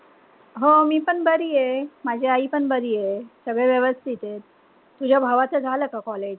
हो मीपण बरीये. माझी आईपण बरीये. सगळे व्यवस्थिते. तुझ्या भावाचं झालं का college?